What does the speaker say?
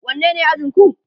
wanne ne ajinku?